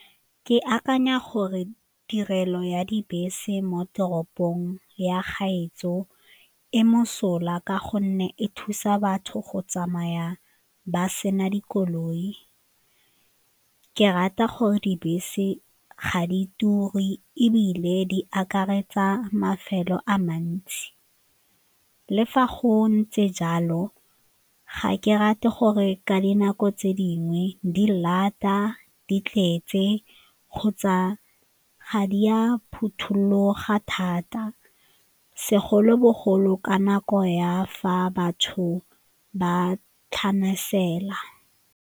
Ke akanya gore tirelo ya dibese mo toropong ya gaetsho e mosola ka gonne e thusa batho go tsamaya ba sena dikoloi, ke rata gore dibese ga di ture ebile di akaretsa mafelo a mantsi. Le fa go ntse jalo, ga ke rate gore ka dinako tse dingwe di lata, di tletse kgotsa ga di a phuthuloga thata segolobogolo ka nako ya fa batho ba .